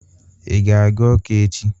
Ị ga-aga Awka echi?